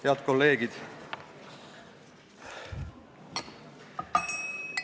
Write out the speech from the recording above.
Head kolleegid!